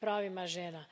pravima žena.